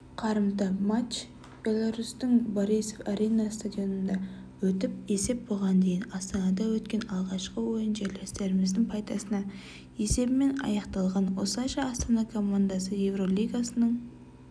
қарымта матч беларусьтің борисов-арена стадионында өтті есеп бұған дейін астанада өткен алғашқы ойын жерлестеріміздің пайдасына есебімен аяқталған осылайша астана командасы еуропалигасының